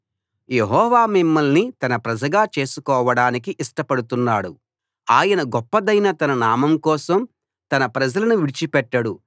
యెహోవా మిమ్మల్ని తన ప్రజగా చేసుకోవడానికి ఇష్టపడుతున్నాడు ఆయన గొప్పదైన తన నామం కోసం తన ప్రజలను విడిచిపెట్టడు